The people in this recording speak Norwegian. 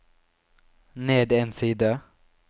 ned en side